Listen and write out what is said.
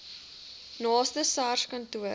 naaste sars kantoor